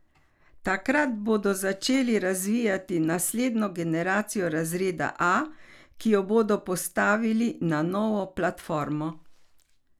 Takrat bodo začeli razvijati naslednjo generacijo razreda A, ki jo bodo postavili na novo platformo.